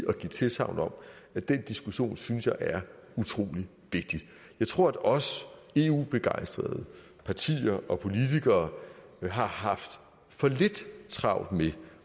at den diskussion synes jeg er utrolig vigtigt jeg tror at os eu begejstrede partier og politikere har haft for lidt travlt med